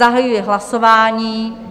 Zahajuji hlasování.